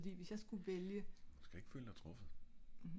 fordi hvis jeg skulle vælge